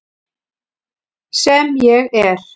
Sem ég er.